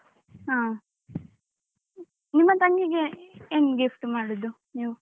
ಹ. ನಿಮ್ಮ ತಂಗಿಗೆ ಏನು gift ಮಾಡುದು ನೀವು?